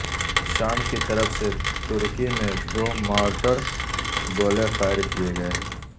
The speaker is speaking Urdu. شام کی طرف سے ترکی میں دو مارٹر گولے فائر کئے گئے